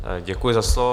Děkuji za slovo.